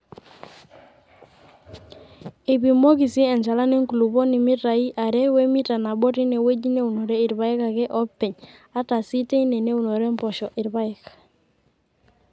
Eipimoki sii enchalan enkulupuoni mitaai are we mita nabo teinewueji neunore irpaek ake oopeny ata sii teine neunore mpoosho irpaek.